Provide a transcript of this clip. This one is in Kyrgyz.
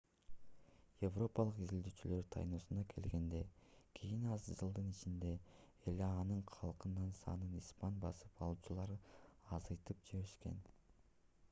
европалык изилдөөчүлөр тайноско келгенден кийин аз жылдын ичинде эле анын калкынын санын испан басып алуучулар азайтып жиберишкен